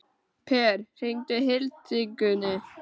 Per, hringdu í Hildigunni.